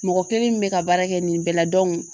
Mɔgɔ kelen min bɛ ka baara kɛ nin bɛɛ la